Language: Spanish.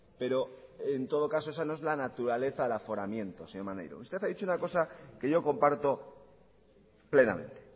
pero en todo caso esa no es la naturaleza al aforamiento señor maneiro usted ha dicho una cosa que yo comparto plenamente